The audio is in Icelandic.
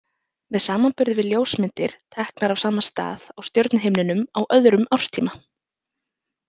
Með samanburði við ljósmyndir teknar af sama stað á stjörnuhimninum á öðrum árstíma.